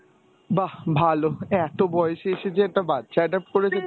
বাহ! ভালো, এত বয়সে এসে যে একটা বাচ্চা adopt করেছে